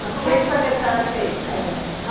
Mas como é que foi que a senhora fez? Eh